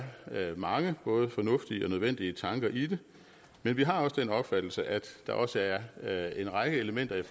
mange både fornuftige og nødvendige tanker i det men vi har også den opfattelse at der også er er en række elementer i